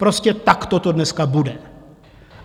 Prostě takto to dneska bude.